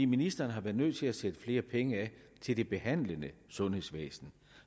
ministeren har været nødt til at sætte flere penge af til det behandlende sundhedsvæsen